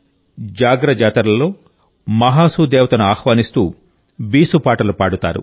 జాగ్ర జాతరలలో మహాసూ దేవతను ఆహ్వానిస్తూ బీసు పాటలు పాడతారు